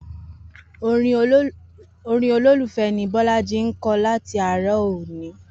Orin olólùfẹ́ ni Bọ́lájí ti ń kọ láti àárọ̀ lónìí